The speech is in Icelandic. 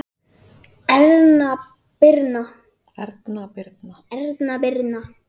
Erna Birna.